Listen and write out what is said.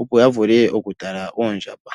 opo ya vule oku tala oondjamba.